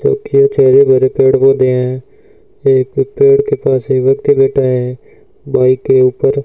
कुछ हरे भरे पेड़ पौधे हैं एक पेड़ के पास एक व्यक्ति बैठा है बाइक के ऊपर --